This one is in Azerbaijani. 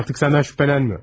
Artıq səndən şübhələnmir.